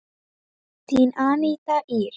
Þín Aníta Ýr.